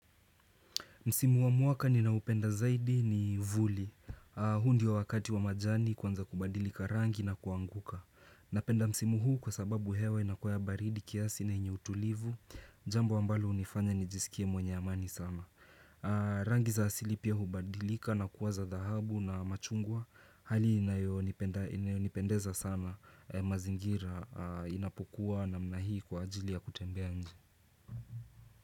Msimu wa muwaka ni naupenda zaidi ni vuli, huu ndio wa wakati wa majani kwanza kubadilika rangi na kuanguka. Napenda msimu huu kwa sababu hewa inakua ya baridi kiasi na yenye utulivu, jambo ambalo hunifanya nijisikie mwenye amani sana. Rangi za asili pia hubadilika na kuwa za dhahabu na machungwa, hali inayonipendeza sana mazingira inapokuwa namna hii kwa ajili ya kutembea nji.